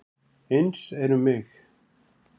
Eins er um mig.